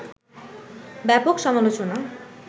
ব্যাপক সমালোচনা